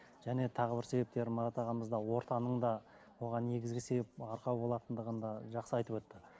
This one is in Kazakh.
және тағы бір себептер марат ағамыз да ортаның да оған негізгі себеп арқау болатындығын да жақсы айтып өтті